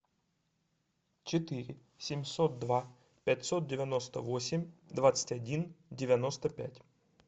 четыре семьсот два пятьсот девяносто восемь двадцать один девяносто пять